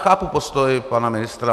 Chápu postoj pana ministra.